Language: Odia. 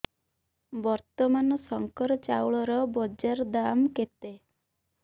ବର୍ତ୍ତମାନ ଶଙ୍କର ଚାଉଳର ବଜାର ଦାମ୍ କେତେ